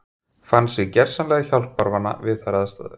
Fann sig gersamlega hjálparvana við þær aðstæður.